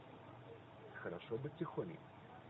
хорошо быть тихоней